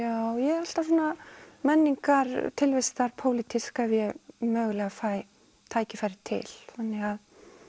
já ég er alltaf svona menningar tilvistar pólitísk ef ég mögulega fæ tækifæri til þannig